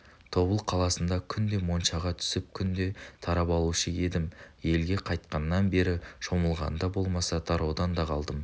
тобыл қаласында күнде моншаға түсіп күнде тарап алушы едім елге қайтқаннан бері шомылғанда болмаса тараудан да қалдым